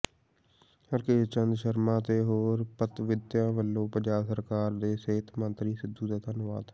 ਹਰਕੇਸ਼ ਚੰਦ ਸ਼ਰਮਾ ਤੇ ਹੋਰ ਪਤਵੰਤਿਆਂ ਵੱਲੋਂ ਪੰਜਾਬ ਸਰਕਾਰ ਤੇ ਸਿਹਤ ਮੰਤਰੀ ਸਿੱਧੂ ਦਾ ਧੰਨਵਾਦ